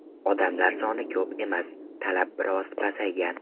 Odamlar soni ko‘p emas, talab biroz pasaygan.